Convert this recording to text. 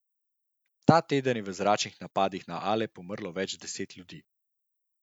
Ta teden je v zračnih napadih na Alep umrlo več deset ljudi.